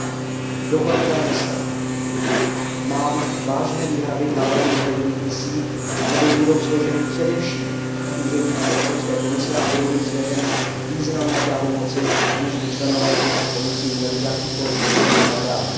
Pokud jde o dohledové mise, mám vážné výhrady k návrhu dohledových misí, neboť budou složeny především z úředníků Evropské komise a budou jim svěřeny významné pravomoci, aniž by členové těchto misí měli jakýkoli politický mandát.